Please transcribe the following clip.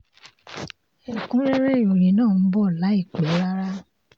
ẹkún rẹ́rẹ́ ìròyìn náà ń bọ̀ láìpẹ́ rárá